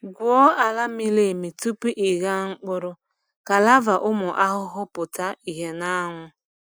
Gwuo ala miri emi tupu ịgha mkpụrụ ka larvae ụmụ ahụhụ pụta ìhè n’anwụ.